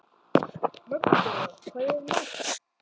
Magnþóra, hvað er í matinn?